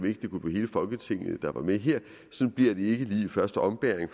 ikke kunne blive hele folketinget der kom med her sådan bliver det desværre ikke lige i første ombæring